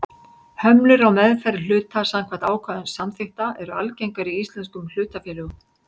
Hömlur á meðferð hluta samkvæmt ákvæðum samþykkta eru algengar í íslenskum hlutafélögum.